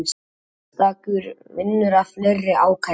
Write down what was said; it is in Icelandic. Sérstakur vinnur að fleiri ákærum